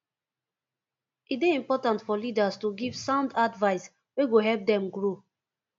e dey important for leaders to give sound advice wey go help dem grow